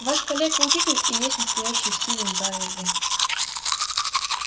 ваш калека-учитель и есть настоящий стивен байерли